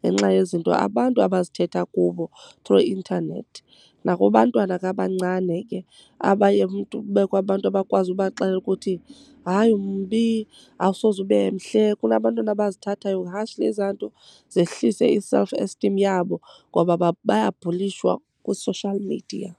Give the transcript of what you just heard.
ngenxa yezinto abantu abazithetha kubo through intanethi. Nakubantwana ke abancane ke abaye umntu kubekho abantu abakwazi ubaxelela ukuthi hayi umbi awusoze ube mhle. Kunabantwana abazithathayo harshly ezaa nto zehlise i-self esteem yabo, ngoba bayabhulishwa kwi-social media.